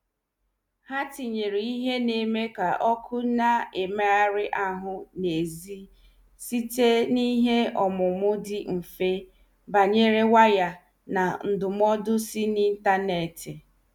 Ha tinyere ihe na- eme ka ọkụ na- emeghari ahụ n' ezi site n' ihe ọmụmụ dị mfe banyere waya na ndụmọdụ si n' intaneti.